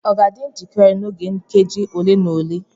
ọ ga-adị njikere n'oge nkeji ole na ole?